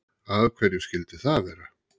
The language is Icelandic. af hverju skyldi það vera